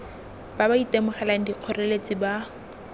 ba ba itemogelang dikgoreletsi ba